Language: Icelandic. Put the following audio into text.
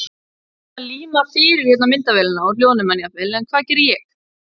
Sumir hérna líma fyrir hérna myndavélina og hljóðnemann jafnvel en hvað geri ég?